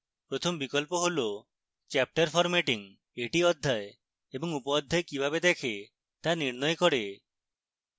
প্রথম বিকল্প হল chapter formatting